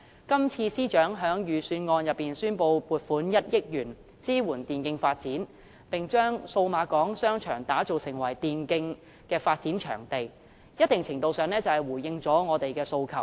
今次司長在預算案中宣布撥款1億元支援電競發展，並將數碼港商場打造成為電競發展的場地，在一定程度上回應了我的訴求。